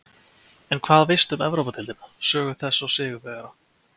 En hvað veistu um Evrópudeildina, sögu þess og sigurvegara?